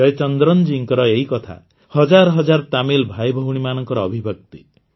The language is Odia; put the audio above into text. ଜୟଚନ୍ଦ୍ରନଜୀଙ୍କର ଏଇକଥା ହଜାର ହଜାର ତାମିଲ ଭାଇଭଉଣୀମାନଙ୍କର ଅଭିବ୍ୟକ୍ତି